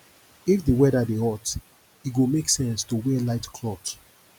if di weather dey hot e go make sense to wear light cloth